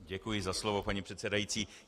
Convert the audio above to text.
Děkuji za slovo, paní předsedající.